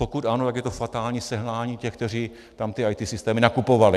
Pokud ano, pak je to fatální selhání těch, kteří tam ty IT systémy nakupovali.